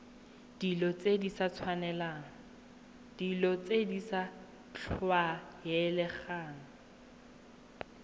dilo tse di sa tlwaelegang